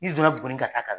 N'i donna buguni ka taa